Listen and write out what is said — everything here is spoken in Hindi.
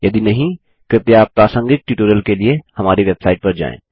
यदि नहीं कृपया प्रासंगिक ट्यूटोरियल के लिए हमारी वेबसाइट पर जाएँ